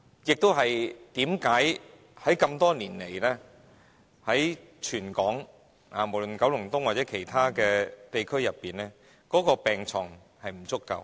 這就是多年來無論在九龍東或其他地區，全港病床不足的原因。